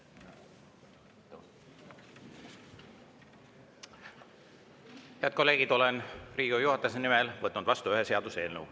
Head kolleegid, olen Riigikogu juhatuse nimel võtnud vastu ühe seaduseelnõu.